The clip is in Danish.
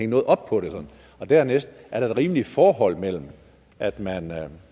noget op på det og dernæst er der et rimeligt forhold mellem at man